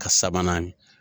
Ka sabanan .